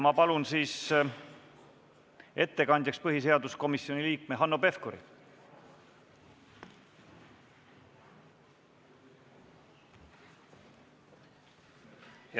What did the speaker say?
Ma palun ettekandjaks põhiseaduskomisjoni liikme Hanno Pevkuri!